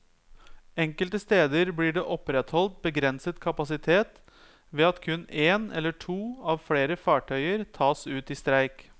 Enkelte steder blir det opprettholdt begrenset kapasitet ved at kun én eller to av flere fartøyer tas ut i streik.